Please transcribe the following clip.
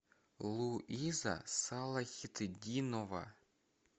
луиза салахитдинова